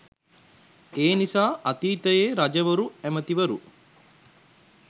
එනිසා අතීතයේ රජවරු ඇමතිවරු